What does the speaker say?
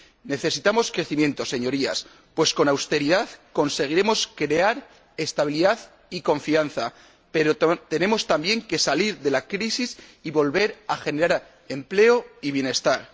Necesitamos crecimiento, Señorías, pues con austeridad conseguiremos crear estabilidad y confianza, pero tenemos también que salir de la crisis y volver a generar empleo y bienestar.